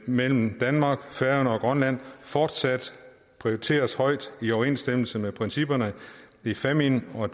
mellem danmark færøerne og grønland fortsat prioriteres højt i overensstemmelse med principperne i fámjin og